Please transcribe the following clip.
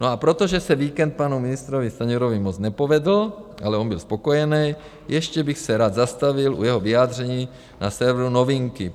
No a protože se víkend panu ministrovi Stanjurovi moc nepovedl, ale on byl spokojenej, ještě bych se rád zastavil u jeho vyjádření na serveru Novinky.